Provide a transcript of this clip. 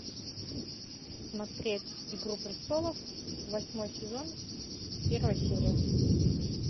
смотреть игру престолов восьмой сезон первая серия